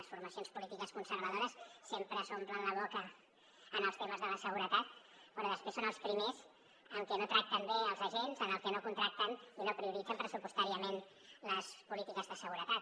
les formacions polítiques conservadores sempre s’omplen la boca amb els temes de la seguretat però després són els primers què no tracten bé els agents que no contracten i no prioritzen pressupostàriament les polítiques de seguretat